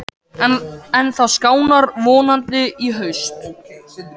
En það skánar vonandi í haust.